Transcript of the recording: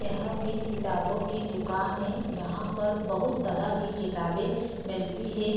यहाँ पे किताबों की दुकान है जहाँ पर बहुत तरह की किताबें मिलती है।